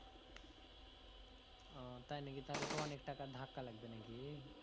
ও তাই নাকি তাহলে তো অনেক টাকার ধাক্কা লাগবে নাকি